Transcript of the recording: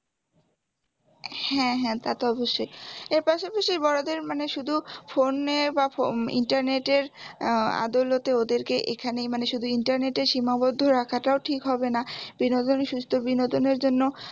হ্যাঁ হ্যাঁ তা তো অবশ্যই এর পাশাপাশি বড়দের মানে শুধু ফোনের internet এর আহ দৌলতে ওদেরকে এখানে মানে শুধু internet এর সীমাবদ্ধ রাখাটাও ঠিক হবেনা সুস্থ বিনোদনের জন্য